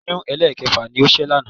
Oyún ẹlẹ́ẹ̀kẹfà ni ó ṣẹ́ lánàá